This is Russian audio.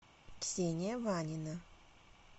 ксения ванина